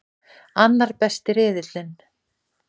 Annar besti riðillinn